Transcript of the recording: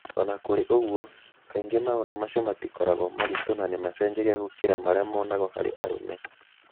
O na kũrĩ ũguo, kaingĩ maũndũ macio matikoragwo maritũ na nĩ macenjagia gũkĩra marĩa monagwo harĩ arũme.